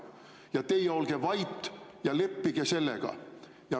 Ja teie olge vait ja leppige sellega.